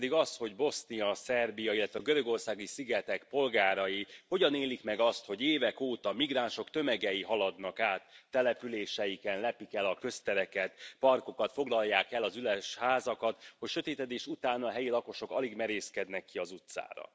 Ez pedig az, hogy Bosznia, Szerbia, illetve a görögországi szigetek polgárai hogyan élik meg azt, hogy évek óta migránsok tömegei haladnak át településeiken, lepik el a köztereket, parkokat, foglalják el az üres házakat, hogy sötétedés után a helyi lakosok alig merészkednek ki az utcára.